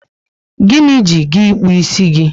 Gịnị ji gị ịkpụ isi gị?